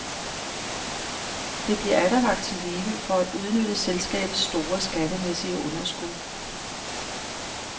Det bliver atter vakt til live for at udnytte selskabets store, skattemæssige underskud.